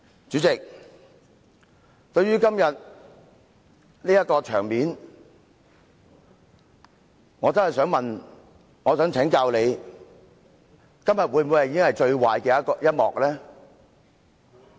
主席，對於今天這種場面，我真的想請教你，今天會否已經是最壞的一幕？